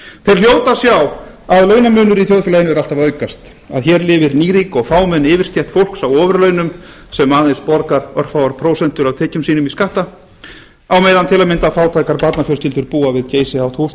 þeir hljóta að sjá að launamunur í þjóðfélaginu er alltaf að aukast að hér lifir nýrík og fámenn yfirstétt fólks á ofurlaunum sem einungis borgar örfáar prósentur af tekjum sínum í skatta á meðan til að mynda fátækar barnafjölskyldur búa við geysihátt húsnæði